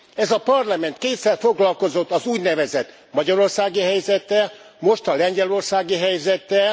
Ez a Parlament kétszer foglalkozott az úgynevezett magyarországi helyzettel, most a lengyelországi helyzettel.